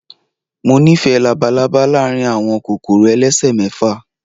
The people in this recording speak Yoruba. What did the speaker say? Mo nífẹ̀ẹ́ labalaba láàárín àwọn kòkòrò elesemefa.